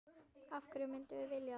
Af hverju myndum við vilja það?